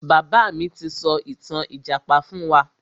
Bàbá mi ti sọ ìtàn ìjàpá fún wa.